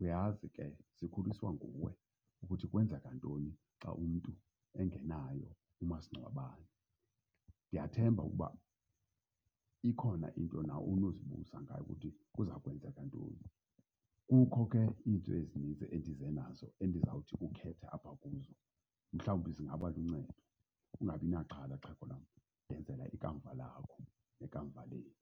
Uyazi ke sikhuliswea nguwe, kuthi kwenzeka ntoni xa umntu engenaye umasingcwabane. Ndiyathemba ukuba ikhona into nawe onokuzibuza ngayo ukuthi kuza kwenzeka ntoni. Kukho ke iinto ezinintsi endize nazo endizawuthi ukhethe apha kuzo mhlawumbi zingaba luncedo. Ungabi naxhala, xhego lam, ndenzela ikamva lakho nekamva lethu.